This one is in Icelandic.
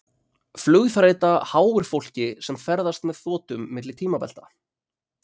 flugþreyta háir fólki sem ferðast með þotum milli tímabelta